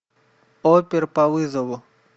опер по вызову